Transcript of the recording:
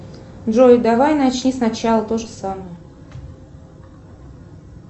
джой давай начни сначала тоже самое